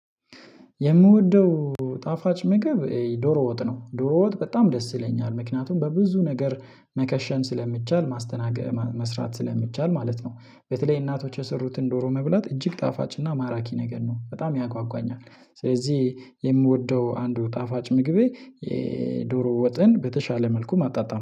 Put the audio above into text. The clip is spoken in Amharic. የምወደው ጣፋጭ ምግብ ዶሮ ወጥ ነው ዶሮ ወጥ በጣም ደስ ይለኛል ምክንያቱም በብዙ ነገር መከሸን ስለሚቻል ማስተናገር መስራት ስለሚቻል ማለት ነው። በተለይ እናቶች የሰሩትን ዶሮ መብላት እጅግ ጣፋጭና ማራኪ ነገር ነው በጣም ያጓጓኛል። ስለዚህ የምወደው አንዱ ጣፋጭ ምግቤ የዶሮ ወጥን በተሻለ መልኩ ማጣጣም